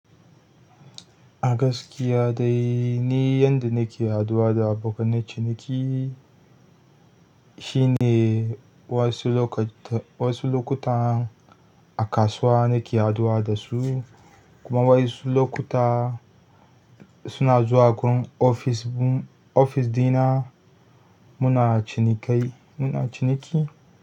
A gaskiya dai ni yanda nake haɗuwa da abokanen ciniki, shine wasu lokuta a kasuwa nake haɗuwa da su kuma wa yansu lokuta suna zuwa wurin ofis ɗin na muna cinikai muna ciniki.